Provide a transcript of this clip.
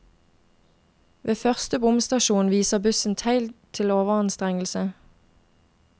Ved første bomstasjonen viser bussen tegn til overanstrengelse.